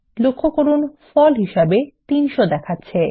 লক্ষ্য করুন ফল হিসাবে 300 দেখাচ্ছে